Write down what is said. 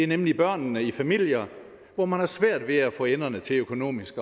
nemlig børnene i familier hvor man har svært ved at få enderne til økonomisk